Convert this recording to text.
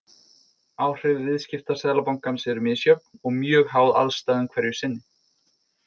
Áhrif viðskipta Seðlabankans eru misjöfn og mjög háð aðstæðum hverju sinni.